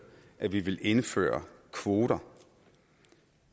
at vi vil indføre kvoter